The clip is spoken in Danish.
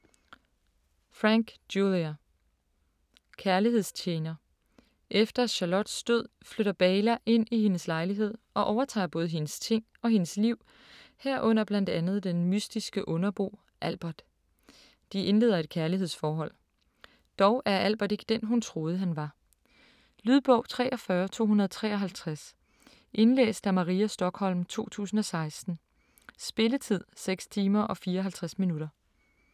Franck, Julia: Kærlighedstjener Efter Charlottes død flytter Beyla ind i hendes lejlighed og overtager både hendes ting og hendes liv, herunder blandt andet den mystiske underbo Albert. De indleder et kærlighedsforhold. Dog er Albert ikke den, hun troede han var. Lydbog 43253 Indlæst af Maria Stokholm, 2016. Spilletid: 6 timer, 54 minutter.